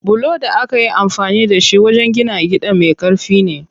Bulon da akayi amfani da shi wajen gina gidan me ƙarfi ne.